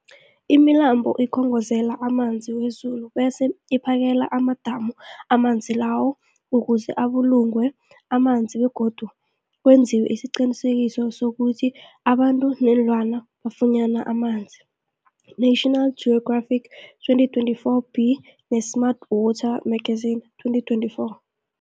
Imilambo ikhongozela amanzi wezulu bese iphakele amadamu amanzi lawo ukuze abulungwe amanzi begodu kwenziwe isiqiniseko sokuthi abantu neenlwana bafunyana amanzi, National Geographic 2024b, ne-Smart Water Magazine 2024.